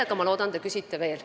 Nii et ma loodan, et te küsite veel.